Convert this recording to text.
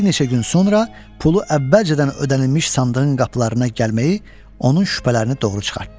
Bir neçə gün sonra pulu əvvəlcədən ödənilmiş sandığın qapılarına gəlməyi onun şübhələrini doğru çıxartdı.